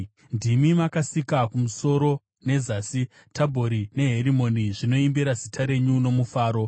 Ndimi makasika kumusoro nezasi; Tabhori neHerimoni zvinoimbira zita renyu nomufaro.